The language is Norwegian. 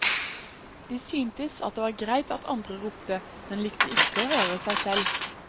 De syntes det var greit at andre ropte, men likte ikke å høre seg selv.